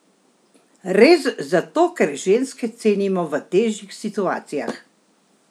Res zato, ker ženske cenimo v težjih situacijah?